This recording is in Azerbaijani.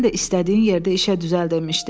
Sən də istədiyin yerdə işə düzəldilmişdi.